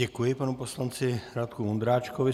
Děkuji panu poslanci Radku Vondráčkovi.